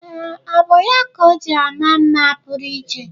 Ee, ọ bụ ya ka o ji ama mma pụrụ iche.